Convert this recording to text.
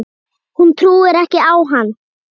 Hún trúir ekki á hann.